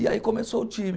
E aí começou o time.